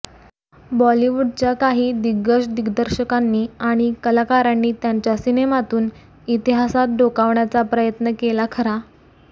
बॉलिवूडच्या काही दिग्गज दिग्दर्शकांनी आणि कलाकारांनी त्यांच्या सिनेमातून इतिहासात डोकावण्याचा प्रयत्न केला खरा